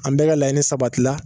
An bɛɛ ka laɲini sabatila